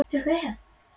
Er það möguleiki?